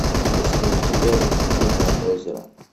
есть ли у тебя лебединое озеро